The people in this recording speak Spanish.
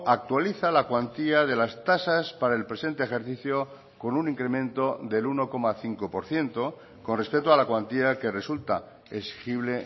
actualiza la cuantía de las tasas para el presente ejercicio con un incremento del uno coma cinco por ciento con respecto a la cuantía que resulta exigible